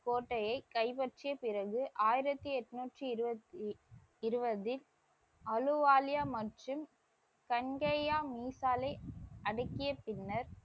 கோட்டையை கைப்பற்றிய பிறகு ஆயிரத்தி எண்ணூற்றி இருவதில் அலுவாலியா மற்றும் தன்கையாமிசாலை அடக்கிய பின்னர்,